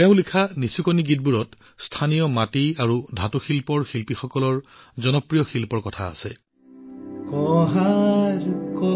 তেওঁ লিখা নিচুকনি গীতটোৱে স্থানীয়ভাৱে মাটিৰ পাত্ৰ তৈয়াৰ কৰা শিল্পীসকলৰ জনপ্ৰিয় শিল্পৰ প্ৰতিফলন বহন কৰে